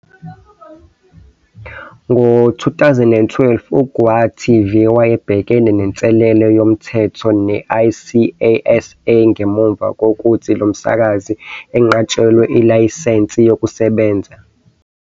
Ngo-2012, uGauTV wayebhekene nenselelo yezomthetho ne- ICASA ngemuva kokuthi lo msakazi enqatshelwe ilayisense yokusebenza.